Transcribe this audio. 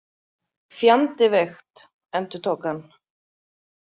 Fjandi veikt, endurtók hann.